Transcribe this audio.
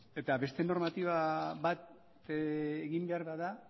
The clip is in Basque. eta beste normatiba bategin behar bada